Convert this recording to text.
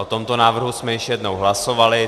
O tomto návrhu jsme již jednou hlasovali.